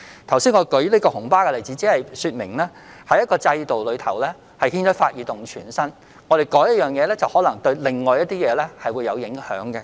我剛才舉出有關紅巴的例子只是說明，在一個制度下有時會牽一髮而動全身，作出某項更改，可能會對另一些事情造成影響。